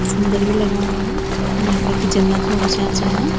सुंदर भी लगण लग्यां नौना कखि जन्नत मा बि छा जयां।